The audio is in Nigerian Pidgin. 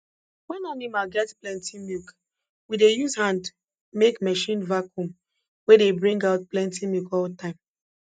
wen animal get plenti milk we dey use hand make marchin vacuum wey dey bring out plenti milk all time